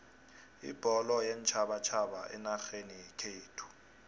ibholo yeentjhabatjhaba enarheni yekhethu